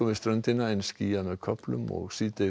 ströndina en skýjað með köflum og